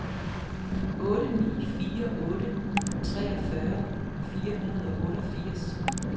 otte ni fire otte treogfyrre fire hundrede og otteogfirs